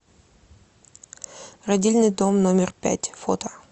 родильный дом номер пять фото